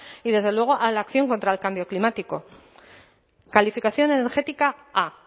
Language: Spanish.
y desde luego a la acción contra el cambio climático calificación energética a